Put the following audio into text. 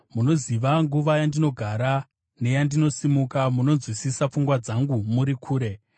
Munoziva nguva yandinogara neyandinosimuka; munonzwisisa pfungwa dzangu muri kure.